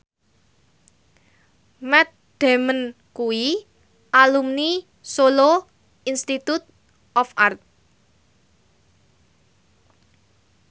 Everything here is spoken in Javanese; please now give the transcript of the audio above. Matt Damon kuwi alumni Solo Institute of Art